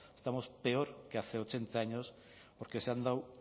estamos peor que hace ochenta años porque se han dado